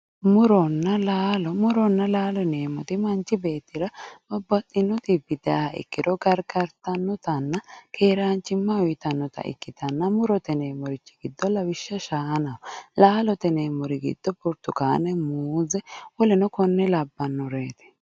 muronna laalo muronna laalo yineemmoti manchi beettira babbaxino xibbi dayiiha ikkiro gargartannotanna keeraanchimma uyiitanota ikkitanna murote yineemmorichi giddo lawishsha shaanaho laalote yineemmorichi giddo burtukaane muuze woleno konne labbanoreeti.